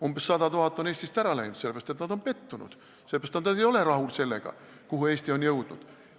Umbes 100 000 inimest on Eestist ära läinud, sellepärast et nad on pettunud, sellepärast et nad ei ole rahul sellega, kuhu Eesti on jõudnud.